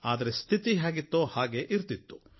ಆದರೆ ಸ್ಥಿತಿ ಮಾತ್ರ ಹೇಗಿತ್ತೋ ಹಾಗೆ ಇರ್ತಿತ್ತು